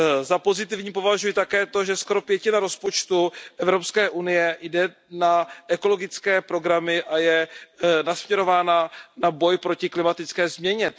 Za pozitivní považuji také to, že skoro pětina rozpočtu Evropské unie jde na ekologické programy a je nasměrována na boj proti klimatické změně.